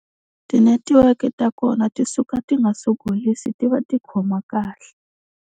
Tinetiweke ta kona ti suka ti nga sogolisi ti va ti khoma kahle.